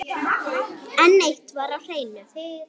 En eitt var á hreinu.